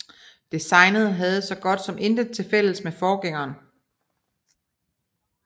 Designet havde så godt som intet til fælles med forgængeren